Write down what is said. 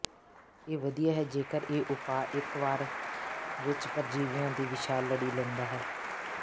ਇਹ ਵਧੀਆ ਹੈ ਜੇਕਰ ਇਹ ਉਪਾਅ ਇੱਕ ਵਾਰ ਵਿੱਚ ਪਰਜੀਵੀਆਂ ਦੀ ਵਿਸ਼ਾਲ ਲੜੀ ਲੈਂਦਾ ਹੈ